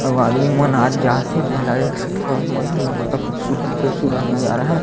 अऊ आदमी मन आत जात हे जेला देख सकथव आपमन मस्त खूबसूरत-खूबसूरत नज़ारा है।